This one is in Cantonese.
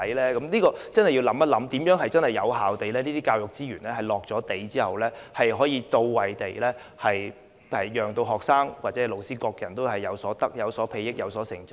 對於這點我們真的要想一想，在投放這些教育資源後，如何能做到資源到位之餘，也能讓學生、老師或各人均有所裨益和成長。